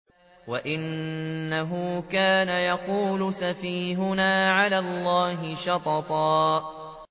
وَأَنَّهُ كَانَ يَقُولُ سَفِيهُنَا عَلَى اللَّهِ شَطَطًا